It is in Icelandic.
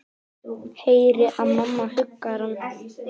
Heyri að mamma huggar hann.